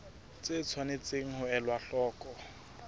tse tshwanetseng ho elwa hloko